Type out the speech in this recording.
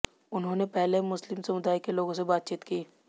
उन्होंने पहले मुस्लिम समुदाय के लोगों से बातचीत की